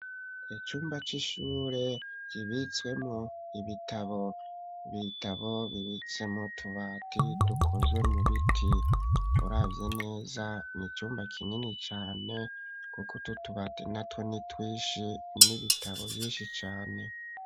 icyumba cy'ishure yibitswemo ibitabo bitabo bibitsemu tubati dukozwe mu biti urabyi neza nicyumba kinini cyane kuko tutubati na tweni twish n'ibitabo vyinshi cane.